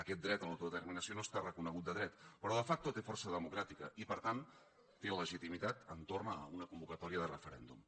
aquest dret a l’autodeterminació no està reconegut de dret però de facto té força democràtica i per tant té legitimitat entorn d’una convocatòria de referèndum